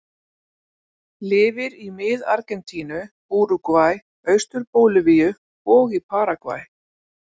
Lifir í mið Argentínu, Úrúgvæ, austur Bólivíu og í Paragvæ.